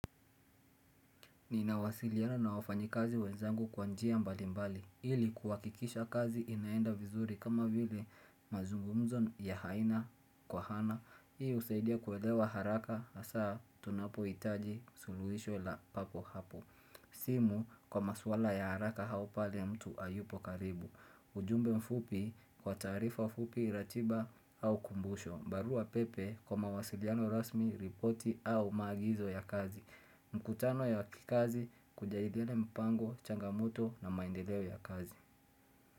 Nina wasiliana na wafanyakazi wenzangu kwa njia mbalimbali Ili kuhakikisha kazi inaenda vizuri kama vile mazungumzo ya haina kwa hana Hii husaidia kuelewa haraka asaa tunapo itaji suluhisho la papo hapo simu kwa maswala ya haraka au pale mtu hayupo karibu ujumbe mfupi kwa taarifa fupi ratiba au kumbusho barua pepe kwa mawasiliano rasmi ripoti au maagizo ya kazi mkutano ya kikazi kujadili mpango, changamoto na maendeleo ya kazi.